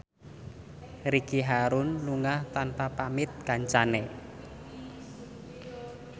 Ricky Harun lunga tanpa pamit kancane